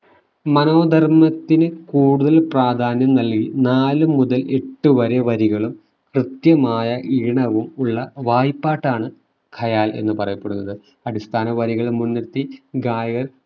മനോധർമ്മത്തിന് കൂടുതൽ പ്രാധാന്യം നൽകി നാലു മുതൽ എട്ടുവരെ വരികളും കൃത്യമായ ഈണവും ഉള്ള വായ്പ്പാട്ടാണ് ഖയാൽ എന്ന് പറയപ്പെടുന്നത് അടിസ്ഥാന വരികള് മുൻനിർത്തി ഗായകർ